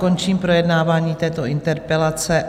Končím projednávání této interpelace.